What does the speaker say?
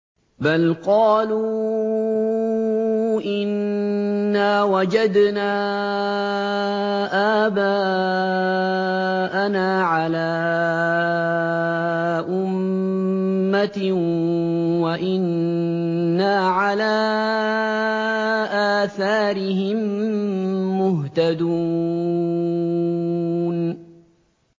بَلْ قَالُوا إِنَّا وَجَدْنَا آبَاءَنَا عَلَىٰ أُمَّةٍ وَإِنَّا عَلَىٰ آثَارِهِم مُّهْتَدُونَ